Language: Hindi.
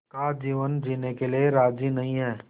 का जीवन जीने के लिए राज़ी नहीं हैं